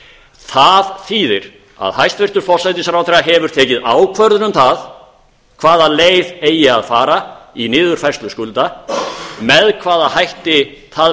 það þýðir að hæstvirtur forsætisráðherra hefur tekið ákvörðun um það hvaða leið eigi að fara í niðurfærslu skulda með hvaða hætti það